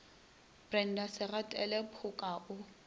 brenda se gatile phoka o